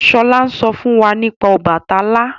Shola n sọ fún wá nípa Obàtálá